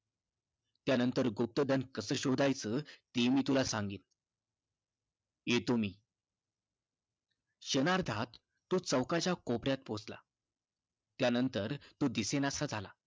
त्यानंतर गुप्तधन कसं शोधायचं ते मी तुला सांगेन. येतो मी. क्षणार्धात तो चौकाच्या कोपऱ्यात पोहोचला त्यानंतर तो दिसेनासा झाला.